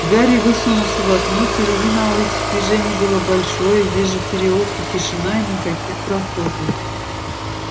гарри высунулся в окно впереди на улице движение было большое здесь же в переулке тишина и никаких прохожих